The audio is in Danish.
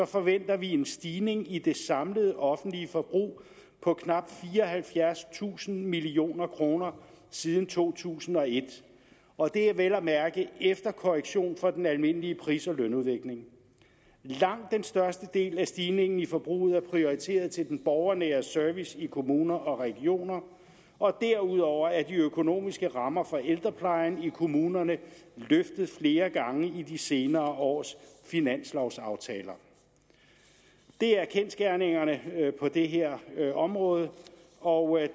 forventer vi en stigning i det samlede offentlige forbrug på knap fireoghalvfjerdstusind million kroner siden to tusind og et og det er vel at mærke efter korrektion for den almindelige pris og lønudvikling langt den største del af stigningen i forbruget er prioriteret til den borgernære service i kommuner og regioner og derudover er de økonomiske rammer for ældreplejen i kommunerne løftet flere gange i de senere års finanslovaftaler det er kendsgerningerne på det her område og